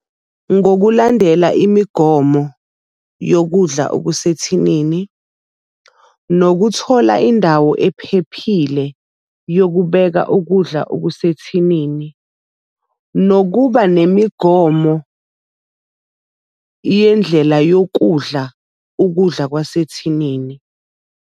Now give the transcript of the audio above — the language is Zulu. Ngokulandela imigomo yokudla okusethinini, nokuthola indawo ephephile yokubeka ukudla okusethinini, nokuba nemigomo yendlela yokudla ukudla kwasethinini.